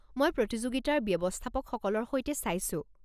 মই প্ৰতিযোগিতাৰ ব্যৱস্থাপকসকলৰ সৈতে চাইছো।